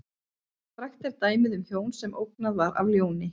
Frægt er dæmið um hjón sem ógnað var af ljóni.